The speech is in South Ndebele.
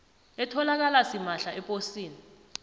etholakala simahla eposini